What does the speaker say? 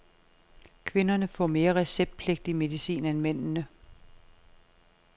Kvinderne får mere receptpligtig medicin end mændene.